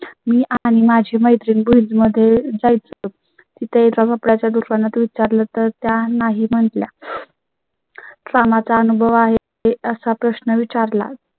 मी आणि माझी मैत्रिण भुज मध्ये जाय चं तिथेच आपल्या दुकानात विचारलं तर त्या नाही म्हटल्या. कामाचा अनुभव आहे असा प्रश्न विचार ला